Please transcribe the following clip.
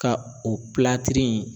Ka o in